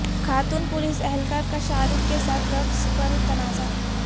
خاتون پولیس اہلکار کا شاہ رخ کے ساتھ رقص پر تنازع